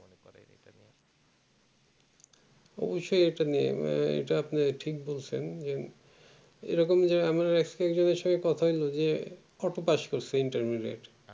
অবসই একটা নিয়ম এটা আপনি ঠিক বলছেন এরকম যে আমরা একেকজনের সঙ্গে কথা হইলো যে কত পাস করছে interview rate